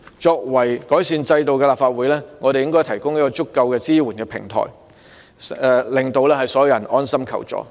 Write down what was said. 作為改善制度的立法會，我們應該提供有足夠支援的平台，令所有人安心求助。